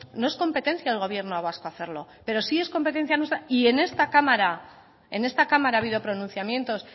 no es competencia del gobierno vasco hacerlo pero sí es competencia nuestra y en esta cámara en esta cámara ha habido pronunciamientos